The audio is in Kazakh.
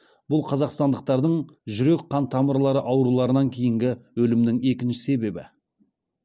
бұл қазақстандықтардың жүрек қан тамырлары ауруларынан кейінгі өлімінің екінші себебі